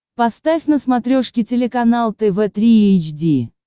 поставь на смотрешке телеканал тв три эйч ди